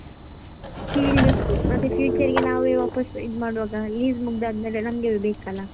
Field field ಮತ್ತೆ future ಗೆ ಮತ್ತೆ ನಾವೇ ಇದ್ಮಾಡುವಾಗ lease ಮುಗ್ದಾದ್ಮೇಲೆ ನಮಗೇ ಬೇಕಲ್ವಾ?